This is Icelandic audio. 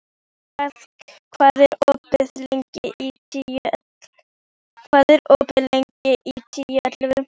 Agða, hvað er opið lengi í Tíu ellefu?